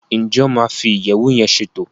Njé o ma fi iyẹwu yén ṣètò?